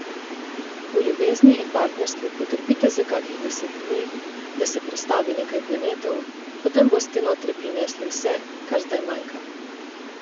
V ljubezni in partnerstvu potrpite za kakih deset dni, da se prestavi nekaj planetov, potem boste noter prinesli vse, kar zdaj manjka.